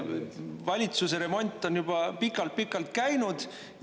Valitsuseremont on juba pikalt-pikalt käinud.